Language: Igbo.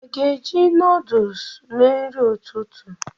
Ha ga-eji nuduls mee nri ụtụtụ?